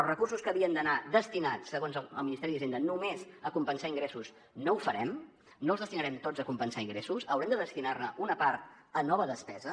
els recursos que havien d’anar destinats segons el ministeri d’hisenda només a compensar ingressos no ho farem no els destinarem tots a compensar ingressos haurem de destinar ne una part a nova despesa